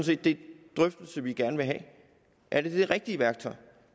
set den drøftelse vi gerne vil have er det det rigtige værktøj